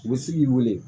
U bɛ se k'i wele